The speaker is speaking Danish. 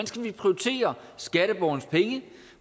skal prioritere skatteborgernes penge